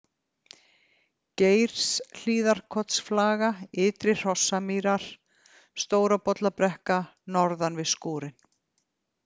Geirshlíðarkotsflaga, Ytri-Hrossamýrar, Stórabollabrekka, Norðan við skúrinn